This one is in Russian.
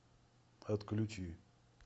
отключи